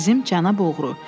Bizim cənab oğru.